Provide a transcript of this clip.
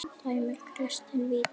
Dæmir Kristinn víti?